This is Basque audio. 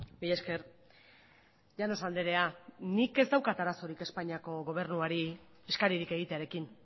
mila esker llanos andrea nik ez daukat arazorik espainiako gobernuari eskaririk egitearekin